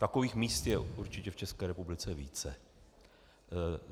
Takových míst je určitě v České republice více.